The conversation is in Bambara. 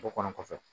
O kɔnɔ kɔfɛ